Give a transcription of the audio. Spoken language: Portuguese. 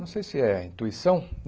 Não sei se é intuição.